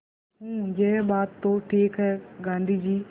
हूँ यह बात तो ठीक है गाँधी जी